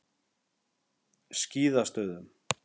Skíðastöðum